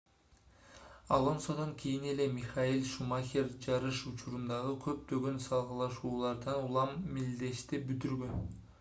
алонсодон кийин эле михаэль шумахер жарыш учурундагы көптөгөн салгылашуулардан улам мелдешти бүтүргөн